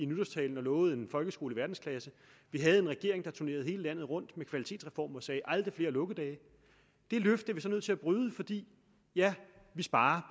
nytårstale lovede en folkeskole i verdensklasse vi havde en regering der turnerede hele landet rundt med kvalitetsreformen og sagde aldrig flere lukkedage det løfte er den så nødt til at bryde fordi ja den sparer